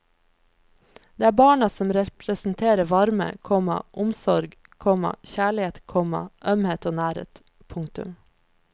Det er barna som representerer varme, komma omsorg, komma kjærlighet, komma ømhet og nærhet. punktum